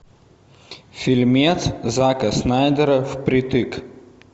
фильмец зака снайдера впритык